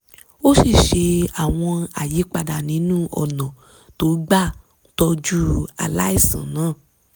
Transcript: ó sì ṣe àwọn àyípadà nínú ọ̀nà tó gbà ń tọ́jú aláìsàn náà